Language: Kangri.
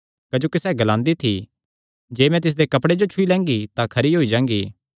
क्जोकि सैह़ ग्लांदी थी जे मैं तिसदे कपड़े जो ई छुई लैंगी तां खरी होई जांगी